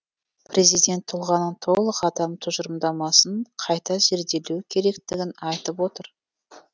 президент тұлғаның толық адам тұжырымдамасын қайта зерделеу керектігін айтып отыр